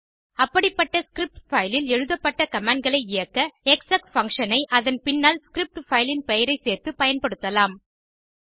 அப்படிப்பட்ட ஸ்க்ரிப்ட் பைலில் எழுதப்பட்ட கமாண்ட் களை இயக்க எக்ஸெக் பங்ஷன் ஐ அதன் பின்னால் ஸ்கிரிப்ட் fileஇன் பெயரை சேர்த்து பயன்படுத்தலாம்